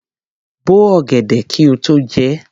Bo ọ̀gẹ̀dẹ̀ kí o tó jẹ ẹ́!